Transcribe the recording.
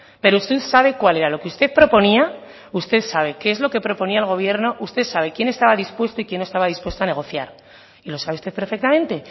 pero usted sabe cuál era lo que usted proponía usted sabe qué es lo que proponía el gobierno usted sabe quién estaba dispuesto y quién no estaba dispuesto a negociar y lo sabe usted perfectamente